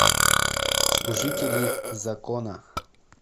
служители закона